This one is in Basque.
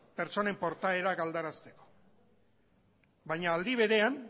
pertsonen portaerak aldarazteko baina aldi berean